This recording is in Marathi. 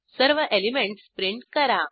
सर्व एलिमेंटस प्रिंट करा